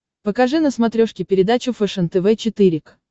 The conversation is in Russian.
покажи на смотрешке передачу фэшен тв четыре к